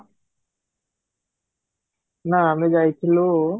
ନା, ଆମେ ଯାଇଥିଲୁ